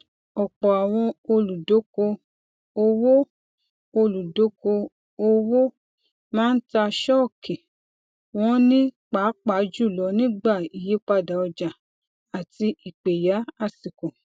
ọpọ àwọn olùdoko owó olùdoko owó máa ń tà ṣọọkì wọn ní pàápàá jùlọ nígbà ìyípadà ọjà àti ìpẹyà àsìkò